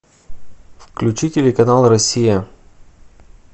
включи телеканал россия